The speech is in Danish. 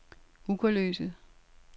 Ugerløse